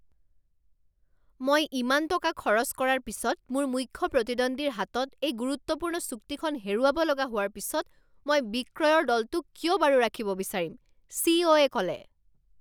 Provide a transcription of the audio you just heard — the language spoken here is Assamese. মই ইমান টকা খৰচ কৰাৰ পিছত মোৰ মুখ্য প্ৰতিদ্বন্দ্বীৰ হাতত এই গুৰুত্বপূৰ্ণ চুক্তিখন হেৰুৱাব লগা হোৱাৰ পিছত মই বিক্ৰয়ৰ দলটোক কিয় বাৰু ৰাখিব বিচাৰিম? চি ই অ এ ক'লে